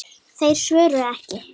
Þeir svöruðu ekki.